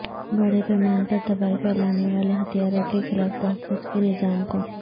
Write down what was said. بڑے پیمانے پر تباہی پھیلانے والے ہتھیاروں کے خلاف تحفظ کے نظام کو